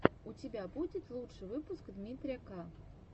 у тебя будет лучший выпуск дмитрия к